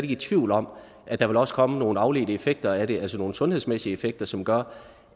i tvivl om at der også vil komme nogle afledte effekter af det altså nogle sundhedsmæssige effekter som gør